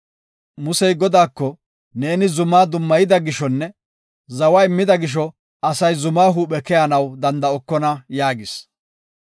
Musey Godaako, “Neeni zuma dummayida gishonne zawa immida gisho asay zuma huuphe keyanaw danda7okona” yaagis.